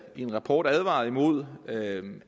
i en rapport advaret mod